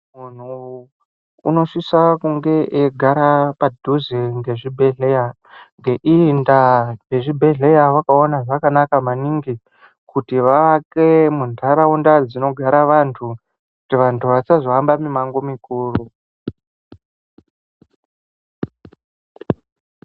Muntu unosisa kunge eigara padhuze nechibhedhleya. Ngeiyi ndaa vechibhedhleya vakaona zvakanaka maningi kuti vaake munharaunda dzinogara antu. Kuti vantu vasazohambe mumango mukuru.